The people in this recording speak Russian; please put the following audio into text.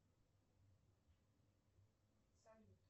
салют